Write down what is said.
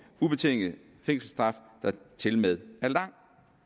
ubetinget fængselsstraf der tilmed er lang